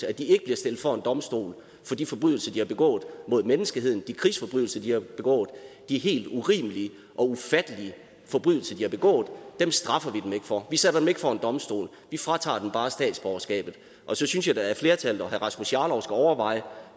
at de ikke bliver stillet for en domstol for de forbrydelser de har begået mod menneskeheden altså de krigsforbrydelser de har begået de helt urimelige og ufattelige forbrydelser de har begået straffer vi dem ikke for vi stiller dem ikke for en domstol vi fratager dem bare statsborgerskabet og så synes jeg da at flertallet og herre rasmus jarlov skulle overveje